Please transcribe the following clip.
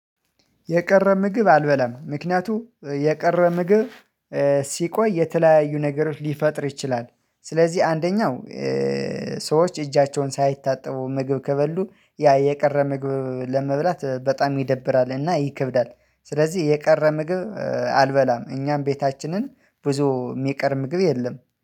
የቀረ ምግብ አልበላም ምክንያቱም የቀረ ምግብ ሲቆይ የተለያዩ ነገሮች ሊፈጥር ይችላል። ስለዚህ አንደኛው ሰዎች እጃቸውን ሳይታጠቡ ምግብ ከበሉ ያ የቀረ ምግብ ለመብላት በጣም ይደብራልና ይከብዳል። ስለዚህ የቀረ ምግብ አልበላም እኛም ቤታችንን ብዙ የሚቀር ምግብ የለም